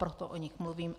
Proto o nich mluvím.